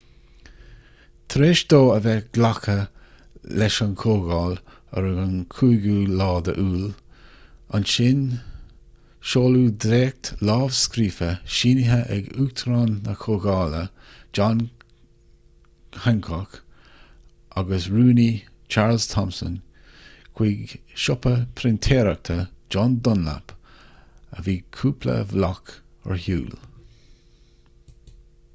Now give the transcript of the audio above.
tar éis dó a bheith glactha leis ag an gcomhdháil ar an 4ú iúil ansin seoladh dréacht lámhscríofa sínithe ag uachtarán na comhdhála john hancock agus an rúnaí charles thomson chuig siopa printéireachta john dunlap a bhí cúpla bhloc ar shiúl